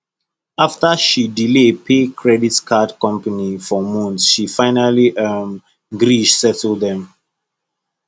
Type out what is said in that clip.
after she delay pay her credit card company for months she finally um gree settle dem